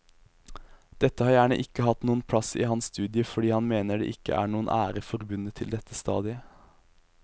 Dette har gjerne ikke hatt noen plass i hans studie fordi han mener det ikke er noen ære forbundet til dette stadiet.